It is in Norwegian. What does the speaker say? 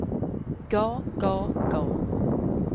ga ga ga